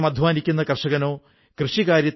പുസ്തക് പരബ് എന്നതും ഇതുപോലെ ഒരു സ്ഥാപനമാണ്